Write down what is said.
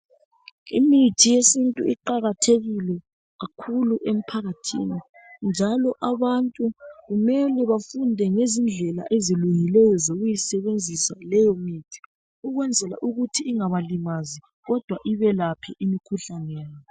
Imithi yesintu iqakathekile kakhulu emphakathini njalo abantu kumele bafunde ngezindlela ezilungileyo zokuyisebenzisa leyo mithi ukwenzela ukuthi ingabalimazi kodwa ibelaphe imikhuhlane .